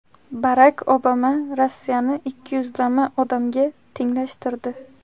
Barak Obama Rossiyani ikkiyuzlama odamga tenglashtirdi.